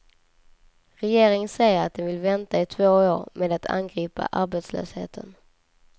Regeringen säger att den vill vänta i två år med att angripa arbetslösheten.